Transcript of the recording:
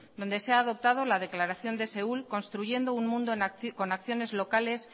donde se ha adoptado la declaración de seul construyendo un mundo con acciones locales